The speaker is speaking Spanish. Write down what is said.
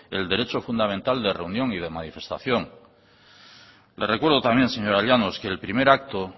el derecho fundamental de reunión y de manifestación le recuerdo también señora llanos que el primer acto